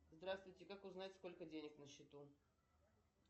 здравствуйте как узнать сколько денег на счету